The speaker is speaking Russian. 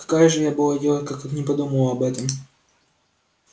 какая же я была идиотка как не подумала об этом